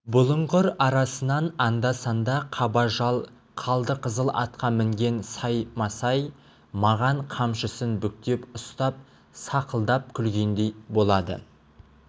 бұлыңғыр арасынан анда-санда қаба жал қалдықызыл атқа мінген саймасай маған қамшысын бүктеп ұстап сақылдап күлгендей болады